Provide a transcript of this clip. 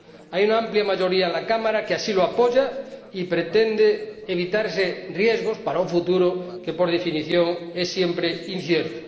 Hay una amplia mayoría en la Cámara que lo apoya y pretende evitar riesgos para un futuro que, por definición, es siempre incierto.